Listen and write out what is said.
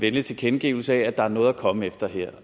venlig tilkendegivelse af at der er noget at komme efter her